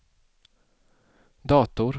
dator